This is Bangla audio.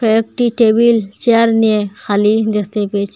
একটি টেবিল চেয়ার নিয়ে খালি দেখতে পেয়েছি।